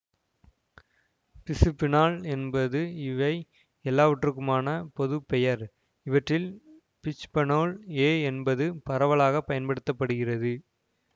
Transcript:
பிசுபீனால் என்பது இவை எல்லாவற்றுக்குமான பொது பெயர் இவற்றில் பிச்பநோல் எ என்பது பரவலாக பயன்படுத்த படுகிறது